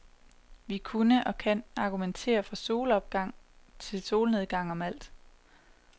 Vi kunne og kan argumentere fra solopgang til solnedgang om alt.